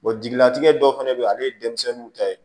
jigilatigɛ dɔw fana bɛ yen ale ye denmisɛnninw ta ye